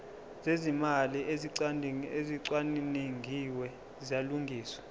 zezimali ezicwaningiwe ziyalungiswa